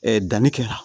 danni kɛra